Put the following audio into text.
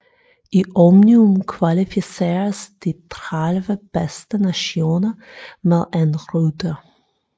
I omnium kvalificeres de 13 bedste nationer med én rytter